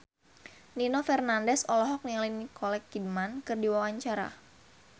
Nino Fernandez olohok ningali Nicole Kidman keur diwawancara